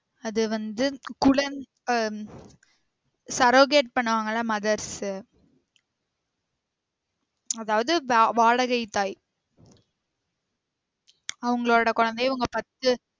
அது வந்து குழந்~ ஆஹ் surrogate பண்ணுவாங்கல்ல mothers உ அதாவது வா~ வாடகை தாய் அவங்களோட குழந்தைய இவங்க பாத்து